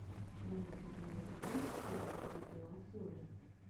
в твоем каталоге есть первые видеообзоры